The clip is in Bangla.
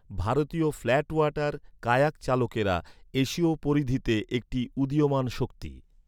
ভারতীয় ফ্ল্যাট ওয়াটার কায়াক চালকেরা এশীয় পরিধিতে একটি উদীয়মান শক্তি।